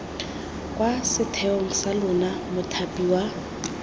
kwa setheong sa lona mothapiwa